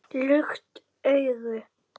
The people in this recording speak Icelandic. Lukt augu